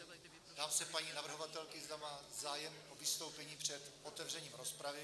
Ptám se paní navrhovatelky, zda má zájem o vystoupení před otevřením rozpravy?